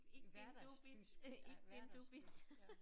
Ich bin du bist ich bin du bist